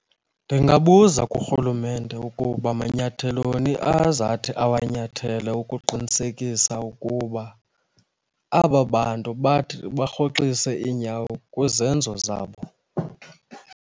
Ndingabuza kurhulumente ukuba manyatheloni azathi awanyathele ukuqinisekisa ukuba aba bantu bathi barhoxise iinyawo kwizenzo zabo.